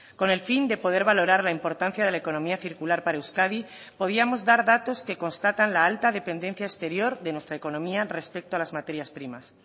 con el fin de poder valorar la importancia de la economía circular para euskadi podíamos dar datos que constatan la alta dependencia exterior de nuestra economía respecto a las materias primas